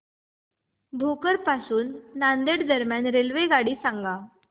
भोकर पासून नांदेड दरम्यान रेल्वेगाडी सांगा